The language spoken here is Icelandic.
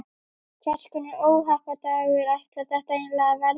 Hvers konar óhappadagur ætlar þetta eiginlega að verða?